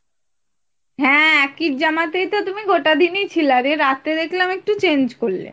হ্যাঁ একই জামাতেই তো তুমি গোটা দিন ই ছিলা আর এই রাতে দেখলাম একটু change করলে